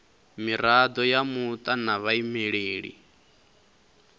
mirado ya muta na vhaimeleli